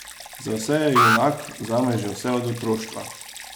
Za vse je junak, zame že vse od otroštva.